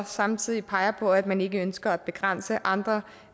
samtidig peger på at man ikke ønsker at begrænse andre